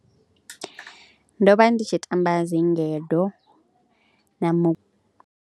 Ndo vha ndi tshi tamba dzi ngedo na mu.